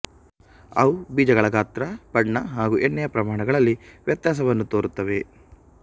ಅವು ಬೀಜಗಳ ಗಾತ್ರ ಬಣ್ಣ ಹಾಗೂ ಎಣ್ಣೆಯ ಪ್ರಮಾಣಗಳಲ್ಲಿ ವ್ಯತ್ಯಾಸವನ್ನು ತೋರುತ್ತವೆ